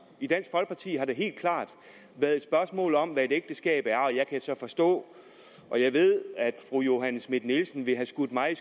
i dansk folkeparti har det helt klart været et spørgsmål om hvad et ægteskab er og jeg kan så forstå og jeg ved at fru johanne schmidt nielsen vil have skudt mig